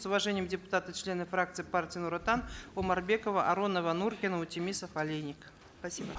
с уважением депутаты члены фракции партии нур отан омарбекова аронова нуркина утемисов олейник спасибо